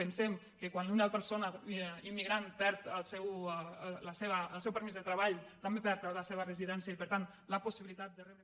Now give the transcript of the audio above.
pensem que quan una persona immigrant perd el seu permís de treball també perd el de la seva residència i per tant la possibilitat de re·bre